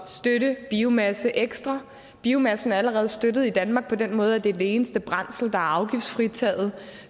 støtte biomasse ekstra biomassen er allerede støttet i danmark på den måde at det er det eneste brændsel er afgiftsfritaget